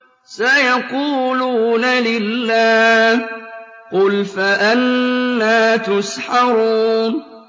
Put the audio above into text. سَيَقُولُونَ لِلَّهِ ۚ قُلْ فَأَنَّىٰ تُسْحَرُونَ